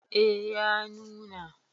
eh ya nuna